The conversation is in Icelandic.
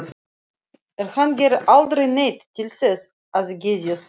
En hann gerir aldrei neitt til þess að geðjast því.